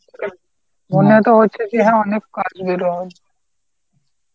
মনে তো হচ্ছে কি হ্যাঁ অনেক